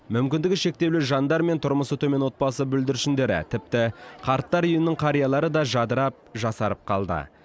мүмкіндігі шектеулі жандар мен тұрмысы төмен отбасы бүлдіршіндері тіпті қарттар үйінің қариялары да жадырап жасарып қалды